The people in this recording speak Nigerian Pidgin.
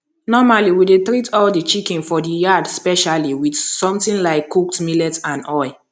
normally we dey treat all the chicken for the yard specially with something like cooked millet and oil